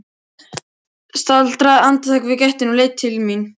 Staldraði andartak við í gættinni og leit til mín.